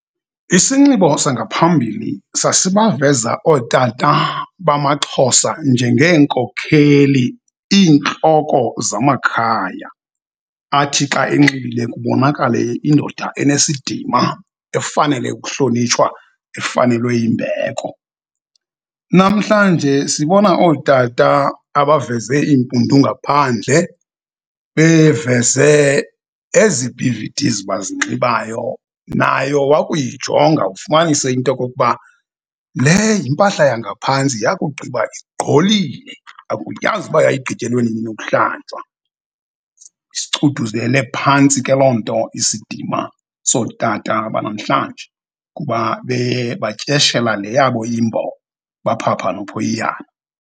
Isinxibo sangaphambili sasibaveza ootata bamaXhosa njengeenkokheli, iintloko zamakhaya athi xa enxibile kubonakale indoda enesidima efanele ukuhlonitshwa, efanelwe yimbeko. Namhlanje sibona ootata abaveze iimpundu ngaphandle, beveze ezi B_V_Ds bazinxibayo, nayo wakuyijonga ufumanise into yokokuba le yimpahla yangaphantsi yakugqiba igqolile, akuyazi uba yayigqityelwe nini ukuhlanjwa. Isichuthuzele phantsi ke loo nto isidima sootata banamhlanje kuba batyeshela le yabo iMbo baphapha nophoyiyana.